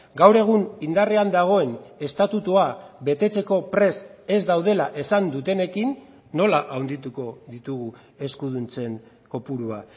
gaur egun indarrean dagoen estatutua betetzeko prest ez daudela esan dutenekin nola handituko ditugu eskuduntzen kopurua